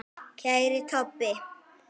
Kæri Tobbi.